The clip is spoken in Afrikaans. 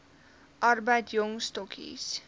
arbeid jong stokkies